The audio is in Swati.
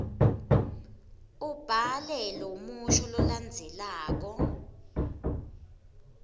ubhale lomusho lolandzelako